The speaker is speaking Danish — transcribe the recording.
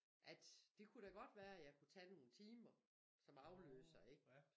At det kunne da godt være jeg kunne tag nogen timer som afløser ikke